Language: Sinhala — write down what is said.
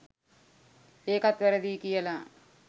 ඒකත් වැරදියි කියලා